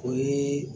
O ye